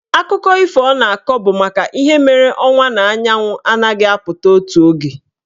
Akụkọ ifo ọ na-akọ bụ maka ihe mere ọnwa na anyanwụ anaghị apụta otu oge.